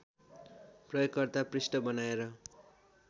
प्रयोगकर्ता पृष्ठ बनाएर